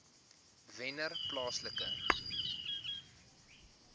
wennerplaaslike